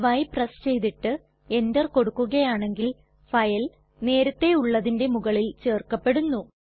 y press ചെയ്തിട്ട് enter കൊടുക്കുകയാണെങ്കിൽ file നേരത്തെ ഉള്ളതിന്റെ മുകളിൽ ചെർക്കപെടുന്നു